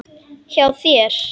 Hjá þér?